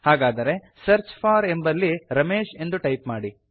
ಹಾಗಾದರೆ search for ಎಂಬಲ್ಲಿ ರಮೇಶ್ ಎಂದು ಟೈಪ್ ಮಾಡಿ